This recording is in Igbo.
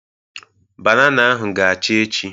Banana ahụ ga-acha echi.